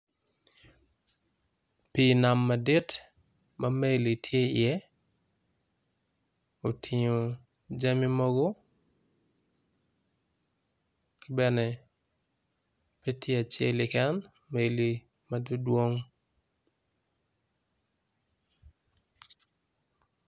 Pi nam madi ma meli tye i ye otingo jami mogo ki bene petye acel keken meli madwodwong.